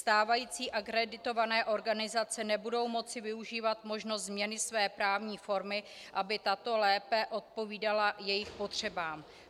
Stávající akreditované organizace nebudou moci využít možností změny své právní formy, aby tato lépe odpovídala jejich potřebám.